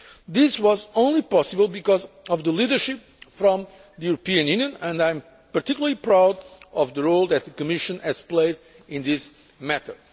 This was only possible because of the leadership from the European Union, and I am particularly proud of the role that the Commission has played in this matter.